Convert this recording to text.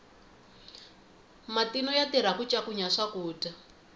matino ya tirha ku ncakunya swakudya